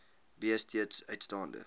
b steeds uitstaande